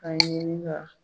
Ka ɲinin ka